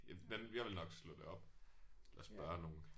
Jeg jeg ville nok slå det op. Eller spørge nogen